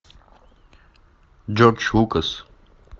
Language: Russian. джордж лукас